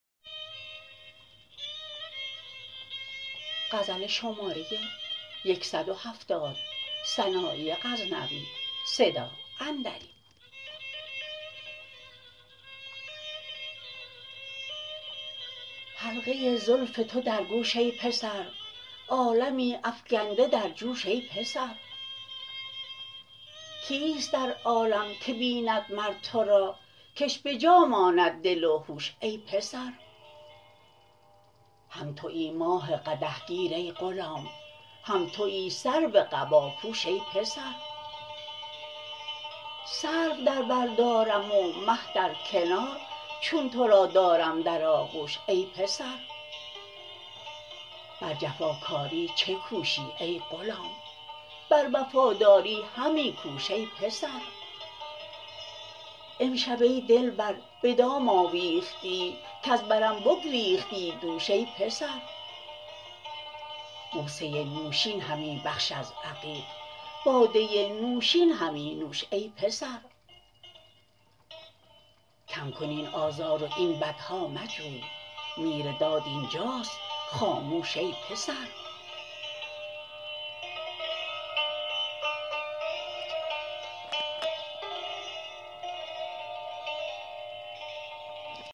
حلقه زلف تو در گوش ای پسر عالمی افگنده در جوش ای پسر کیست در عالم که بیند مر تو را کش به جا ماند دل و هوش ای پسر هم تویی ماه قدح گیر ای غلام هم تویی سرو قباپوش ای پسر سرو در بر دارم و مه در کنار چون تو را دارم در آغوش ای پسر بر جفا کاری چه کوشی ای غلام بر وفاداری همی کوش ای پسر امشب ای دلبر به دام آویختی کز برم بگریختی دوش ای پسر بوسه نوشین همی بخش از عقیق باده نوشین همی نوش ای پسر کم کن این آزار و این بدها مجوی میر داد اینجاست خاموش ای پسر